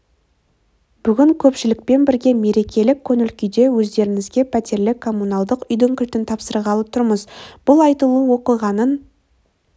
бүгін көпшілікпен бірге мерекелік көңіл күйде өздеріңізге пәтерлі коммуналдық үйдің кілтін тапсырғалы тұрмыз бұл айтулы оқиғаның